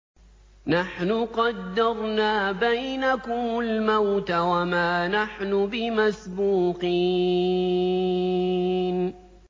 نَحْنُ قَدَّرْنَا بَيْنَكُمُ الْمَوْتَ وَمَا نَحْنُ بِمَسْبُوقِينَ